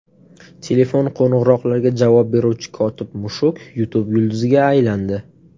Telefon qo‘ng‘iroqlariga javob beruvchi kotib-mushuk YouTube yulduziga aylandi.